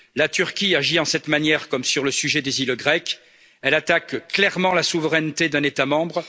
La Turquie agit de cette matière comme sur le sujet des îles grecques elle attaque clairement la souveraineté d'un État membre.